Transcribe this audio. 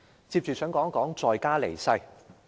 接着我想談談在家離世。